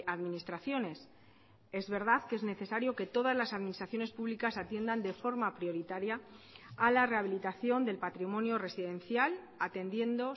administraciones es verdad que es necesario que todas las administraciones públicas atiendan de forma prioritaria a la rehabilitación del patrimonio residencial atendiendo